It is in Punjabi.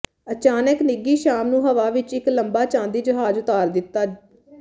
ਅਚਾਨਕ ਨਿੱਘੀ ਸ਼ਾਮ ਨੂੰ ਹਵਾ ਵਿੱਚ ਇੱਕ ਲੰਬਾ ਚਾਂਦੀ ਜਹਾਜ਼ ਉਤਾਰ ਦਿੱਤਾ